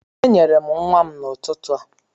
Enyere m nwa m n'ụtụtụ a